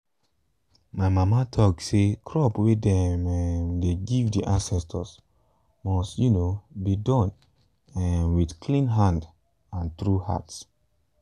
my mama talk say crop way dem um dey give the ancestors must um be done um with clean hand and true heart.